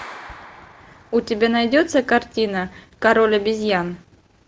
у тебя найдется картина король обезьян